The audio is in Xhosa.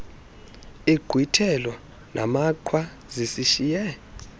inkqwithelo namaqhwa zinishiye